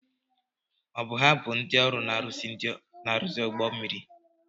Ọ bụ ha bụ ndị ọrụ na-arụzi ụgbọ mmiri?